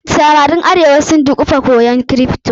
Samaran arewa sun dukufa koya kripto.